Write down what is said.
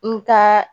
N ka